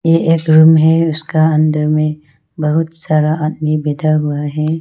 ये एक रूम है उसका अंदर में बहुत सारा आदमी बैठा हुआ है।